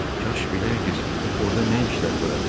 Kaş biləydiz orda nə işlər törədir.